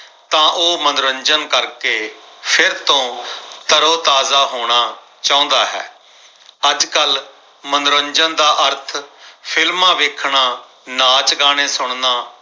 ਤਾਂ ਉਹ ਮਨੋਰੰਜਨ ਕਰਕੇ ਫਿਰ ਤੋਂ ਤਰੋ-ਤਾਜ਼ਾ ਹੋਣਾ ਚਾਹੁੰਦਾ ਹੈ। ਅੱਜਕਲ ਮਨੋਰੰਜਨ ਦਾ ਅਰਥ films ਵੇਖਣਾ ਨਾਚ ਗਾਣੇ ਸੁਣਨਾ